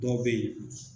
Dɔw bɛ yen